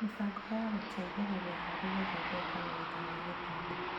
Mĩbango ya gũteithĩrĩria harĩ gũthondeka ũira wa gĩthomo